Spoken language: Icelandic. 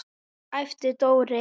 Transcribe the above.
æpti Dóri.